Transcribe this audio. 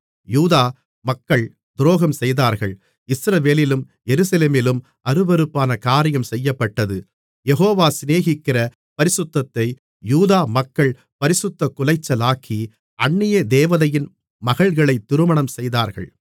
யூதா மக்கள் துரோகம் செய்தார்கள் இஸ்ரவேலிலும் எருசலேமிலும் அருவருப்பான காரியம் செய்யப்பட்டது யெகோவா சிநேகிக்கிற பரிசுத்தத்தை யூதா மக்கள் பரிசுத்தக்குலைச்சலாக்கி அந்நிய தேவதையின் மகள்களை திருமணம்செய்தார்கள்